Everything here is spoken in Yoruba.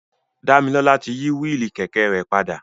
Damilola ti yi willi kẹkẹ rẹ pada.